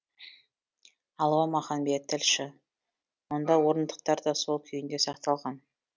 алуа маханбет тілші мұнда орындықтар да сол күйінде сақталған